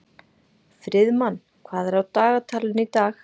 Friðmann, hvað er á dagatalinu í dag?